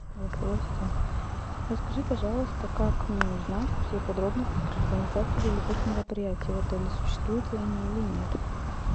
голосовой ассистент расскажи пожалуйста как мне узнать все подробности про организацию деловых мероприятий в отеле существуют ли они или нет